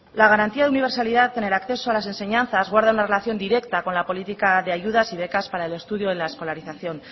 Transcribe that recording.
la garantía de universalidad en el acceso a las enseñanzas guarda una relación directa con la política de ayudas y becas para el estudio de la escolarización